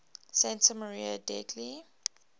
santa maria degli